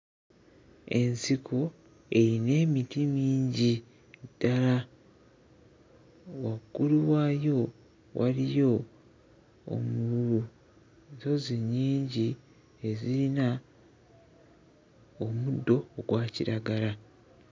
Ensiko eyina emiti mingi ddala. Waggulu waayo waliyo obu nsozi nnyingi eziyina omuddo ogwa kiragala.